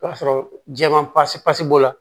O y'a sɔrɔ jɛman pasi pasi b'o la